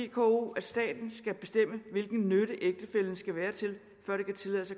vko at staten skal bestemme hvilken nytte ægtefællen skal være til før det kan tillades